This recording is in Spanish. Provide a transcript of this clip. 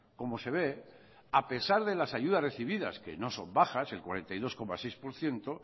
como se ve a pesar de las ayudas recibidas que no son bajas el cuarenta y dos coma seis por ciento